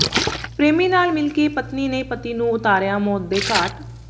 ਪ੍ਰੇਮੀ ਨਾਲ ਮਿਲਕੇ ਪਤਨੀ ਨੇ ਪਤੀ ਨੂੰ ਉਤਾਰਿਆ ਮੌਤ ਦੇ ਘਾਟ